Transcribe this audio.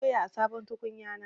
Na dafa doya a sabon tukunyana.